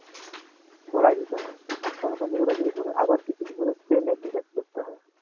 ভরায় দিতে হয় আবার কিছুদিন পরে spray machine দিয়ে spray করতে হয়